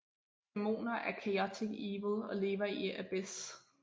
Dæmoner er chaotic evil og lever i Abyss